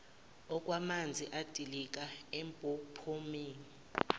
okwamanzi edilika empophomeni